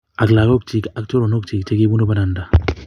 Ak lagokchi ak choronokchi chekibunu bananda